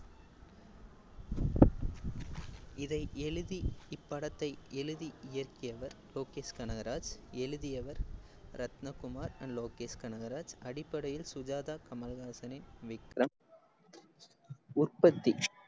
இதை எழுதி இப்படத்தை எழுதி இயக்கியவர் லோகேஷ் கனகராஜ், எழுதியவர் ரத்தினக்குமார் and லோகேஷ் கனகராஜ். அடிப்படையில் சுஜாதா கமல்ஹாசனின் விக்ரம் உற்பத்தி